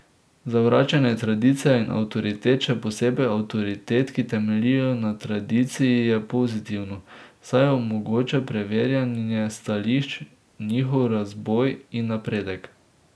Zavračanje tradicije in avtoritet, še posebej avtoritet, ki temeljijo na tradiciji je pozitivno, saj omogoča preverjanje stališč, njihov razboj in napredek.